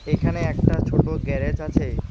এখানে একটা ছোট গ্যারেজ আছে।